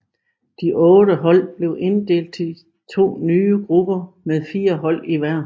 De otte hold blev inddelt i to nye grupper med fire hold i hver